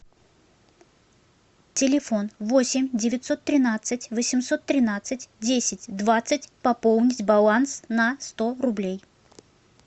телефон восемь девятьсот тринадцать восемьсот тринадцать десять двадцать пополнить баланс на сто рублей